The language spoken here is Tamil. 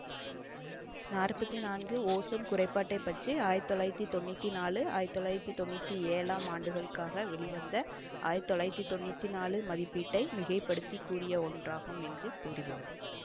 நாற்பத்தி நான்கு ஓசோன் குறைபாட்டைப் பற்றி ஆயிரத்தி தொள்ளாயிரத்தி தொன்னூற்தி நான்கு ஆயிரத்தி தொள்ளாயிரத்தி தொன்னூற்தி ஏழாம் ஆண்டுகளுக்காக வெளிவந்த ஆயிரத்தி தொள்ளாயிரத்தி தொன்னூற்தி நான்கு மதிப்பீட்டை மிகை படுத்தி கூறிய ஒன்றாகும் என்று கூறுகிறது